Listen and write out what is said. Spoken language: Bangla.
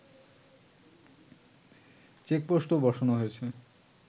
চেকপোস্টও বসানো হয়েছে